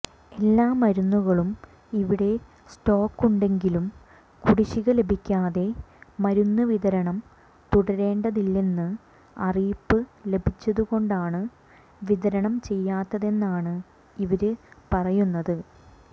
എല്ലാ മരുന്നുകളും ഇവിടെ സ്റ്റോക്കുണ്ടെങ്കിലും കുടിശിക ലഭിക്കാതെ മരുന്നുവിതരണം തുടരേണ്ടതില്ലെന്ന് അറിയിപ്പ് ലഭിച്ചതുകൊണ്ടാണ് വിതരണം ചെയ്യാത്തതെന്നാണ് ഇവര് പറയുന്നത്